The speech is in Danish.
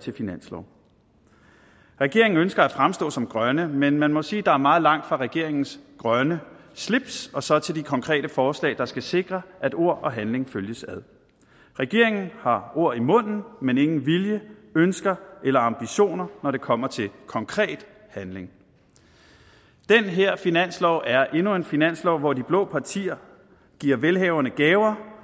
til finanslov regeringen ønsker at fremstå som grønne men man må sige at der er meget langt fra regeringens grønne slips og så til de konkrete forslag der skal sikre at ord og handling følges ad regeringen har ord i munden men ingen vilje ønsker eller ambitioner når det kommer til konkret handling den her finanslov er endnu en finanslov hvor de blå partier giver velhaverne gaver